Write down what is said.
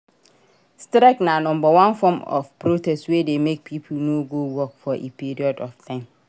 Strike na number one form of protest wey de make pipo no go work for a period of time